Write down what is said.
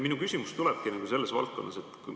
Minu küsimus tulebki sellest valdkonnast.